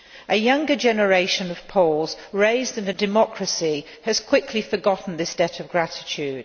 A younger generation of Poles raised in a democracy has quickly forgotten this debt of gratitude.